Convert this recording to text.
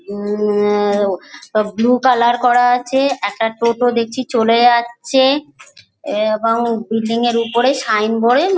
আ-আ-আ- সব blue colour করা আছে একটা টোটো দেখছি চলে যাচ্ছে-এ- এবং বিল্ডিং -এর ওপরে সাইনবোর্ড -এ না--